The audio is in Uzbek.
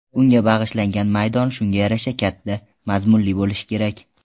Unga bag‘ishlangan maydon shunga yarasha katta, mazmunli bo‘lishi kerak.